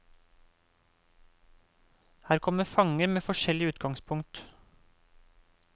Her kom fanger med forskjellig utgangspunkt.